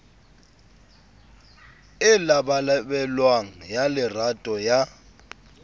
e labalabelwang ya lerato ya